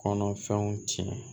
Kɔnɔfɛnw tiɲɛ